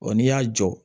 n'i y'a jɔ